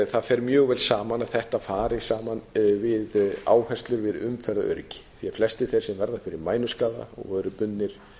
það fer mjög vel saman að þetta fari saman við áherslur við umferðaröryggi því flestir þeir sem verða fyrir mænuskaða og eru bundnir